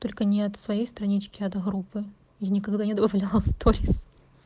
только не от своей странички а от группы я никогда не добавляла сторис